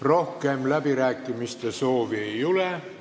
Rohkem läbirääkimiste soovi ei ole.